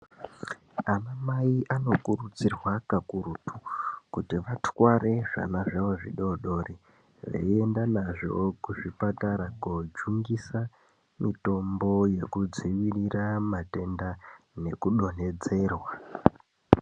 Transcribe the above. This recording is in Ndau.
Anamai anokurudzirwa kakurutu kuti vatwarwe zvana zvawo zvidodori veienda nazvo kuzvipatara kojungisa mitombo yokudzivirira matenda nekudonhedzerwa.